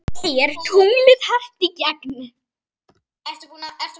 Er tunglið hart í gegn?